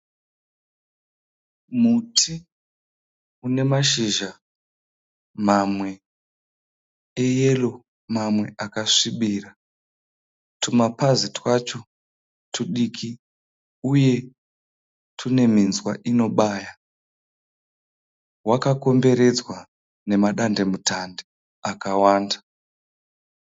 Muti uneshizha mamwe eyero mamwe akasvibira . Tumapazi twacho tudiki uye tune minzwa inobaya. Wakakomberedza nemadandemutande akawanda.